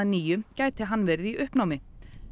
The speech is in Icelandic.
nýju gæti hann verið í uppnámi